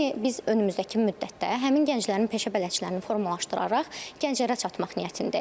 Yəni biz önümüzdəki müddətdə həmin gənclərin peşə bələdçilərini formalaşdıraraq gənclərə çatmaq niyyətindəyik.